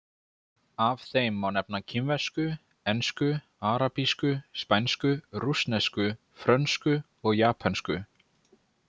Af þeim má nefna kínversku, ensku, arabísku, spænsku, rússnesku, frönsku og japönsku.